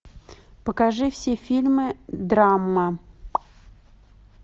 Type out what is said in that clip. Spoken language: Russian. покажи все фильмы драма